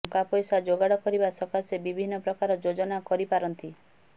ଟଙ୍କା ପଇସା ଯୋଗାଡ଼ କରିବା ସକାଶେ ବିଭିନ୍ନ ପ୍ରକାର ଯୋଜନା କରିପାରନ୍ତି